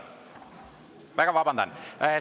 Palun väga vabandust!